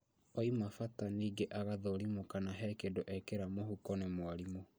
Oima bata ningĩ agathũrimwo kana he kĩndũ ekĩra mũhuko nĩ mwarimũ